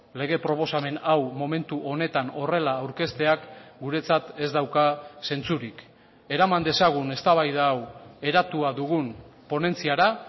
lege proposamen hau momentu honetan horrela aurkezteak guretzat ez dauka zentzurik eraman dezagun eztabaida hau eratua dugun ponentziara